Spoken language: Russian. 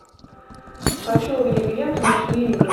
хочу увидеть ленту ночные игры